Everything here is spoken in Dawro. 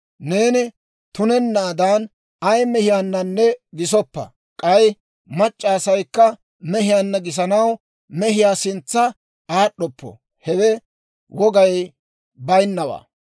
« ‹Neeni tunennaadan ay mehiyaananne gisoppa, k'ay mac'c'a asaykka mehiyaanna gisanaw mehiyaa sintsa aad'd'oppo. Hewe wogay bayinawaa.